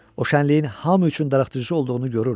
O şənliyin hamı üçün darıxdırıcı olduğunu görürdü.